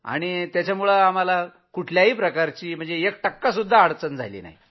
तिथं आम्हाला अगदी एक टक्कासुद्धा अडचण झाली नाही